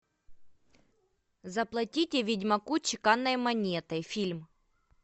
заплатите ведьмаку чеканной монетой фильм